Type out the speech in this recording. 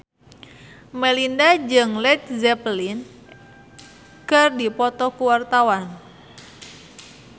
Melinda jeung Led Zeppelin keur dipoto ku wartawan